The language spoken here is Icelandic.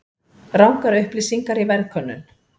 Rangar upplýsingar í verðkönnun